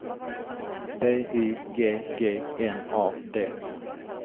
B Y G G N A D